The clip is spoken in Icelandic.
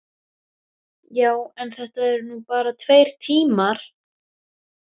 Já, en þetta eru nú bara tveir tímar.